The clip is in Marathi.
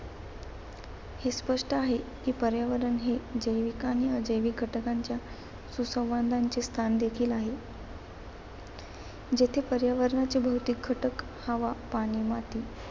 हे स्पष्ट आहे की पर्यावरण हे जैविक आणि अजैविक घटकांच्या सुसंवादाचे स्थान देखील आहे. जेथे पर्यावरण भौतिक घटक हवा, पाणी, माती